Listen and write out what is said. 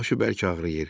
Başı bərk ağrıyır.